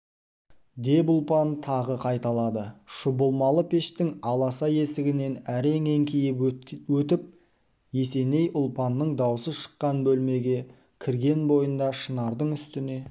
деп ұлпан тағы қайталады шұбалмалы пештің аласа есігінен әрең еңкейіп өтіп есеней ұлпанның даусы шыққан бөлмеге кірген бойында шынардың үстіне